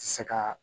Ti se ka